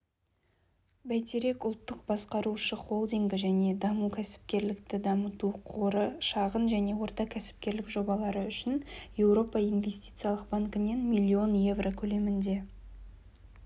бәйтерек ұлттық басқарушы холдингі және даму кәсіпкерлікті дамыту қоры шағын және орта кәсіпкерлік жобалары үшін еуропа инвестициялық банкінен млн еуро көлемінде